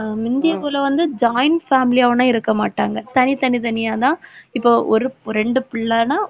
அஹ் முந்திய போல வந்து joint family யா இருக்கமாட்டாங்க. தனித்தனி தனியா தான் இப்ப ஒரு இரண்டு பிள்ளைன்னா